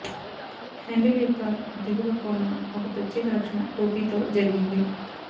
handle యొక్క దిగువ కోన ఒక ప్రత్యేక రక్షణ టోపీ తో జరిగింది